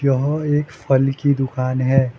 यह एक फल की दुकान है।